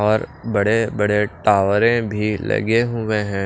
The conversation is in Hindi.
और बड़े-बड़े टावरें भी लगे हुए हैं।